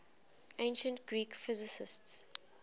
ancient greek physicists